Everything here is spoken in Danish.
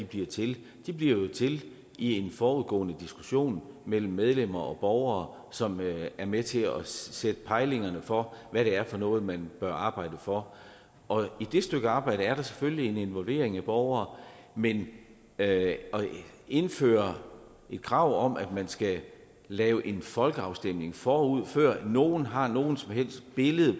bliver til de bliver jo til i en forudgående diskussion mellem medlemmer og borgere som er med til at sætte pejlingerne for hvad det er for noget man bør arbejde for og i det stykke arbejde er der selvfølgelig en involvering af borgere men at indføre et krav om at man skal lave en folkeafstemning forud før nogen har noget som helst billede